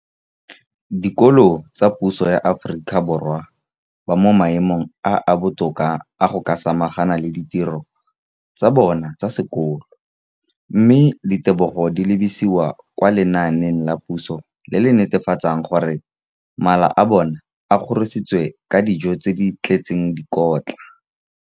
Dikolo tsa puso mo Aforika Borwa ba mo maemong a a botoka a go ka samagana le ditiro tsa bona tsa sekolo, mme ditebogo di lebisiwa kwa lenaaneng la puso le le netefatsang gore mala a bona a kgorisitswe ka dijo tse di tletseng dikotla.